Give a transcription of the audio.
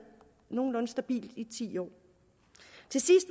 nogenlunde stabilt i ti år